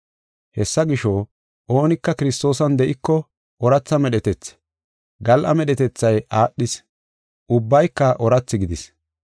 Hessa gisho, oonika Kiristoosan de7iko ooratha medhetethi; gal7a medhetethay aadhis; ubbayka oorathi gidis.